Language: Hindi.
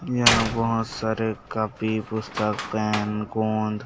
यहाँ - वहाँ सारे कॉपी पुस्तक पेन गोंद --